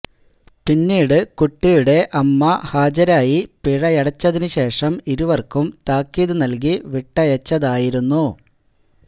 പിന്നീട് കുട്ടിയുടെ അമ്മ ഹാജരായി പിഴയടച്ചതിനുശേഷം ഇരുവര്ക്കും താക്കീത് നല്കി വിട്ടയച്ചതായിരുന്നു